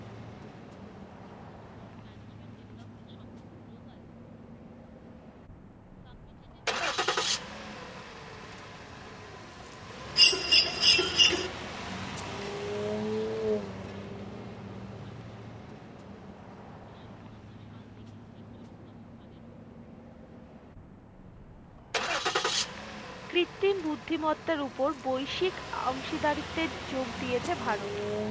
কৃত্রিম বুদ্ধি মত্তা উপর বৈশিক অংশীদারিত্বের যোগ দিয়েছে ভারত।